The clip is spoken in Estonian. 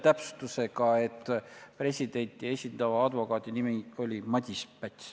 Täpsustan lihtsalt, et presidenti esindava advokaadi nimi oli Madis Päts.